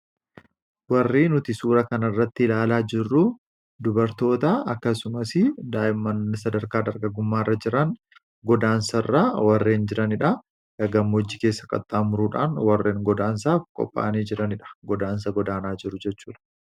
warri nuti suura kan irratti ilaalaa jirru dubartoota akkasumas daa'immani sadarkaa dhargagummaa irra jiran godaansa irraa warreen jiraniidha yagammoojjii keessa qaxxaa muruudhaan warreen godaansaaf qophaanii jiraniidha godaansa godaanaa jiru jechuudha